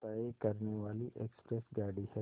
तय करने वाली एक्सप्रेस गाड़ी है